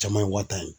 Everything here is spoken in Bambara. Caman ye wa tan ye